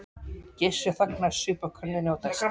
Gissur þagnaði, saup af könnunni og dæsti.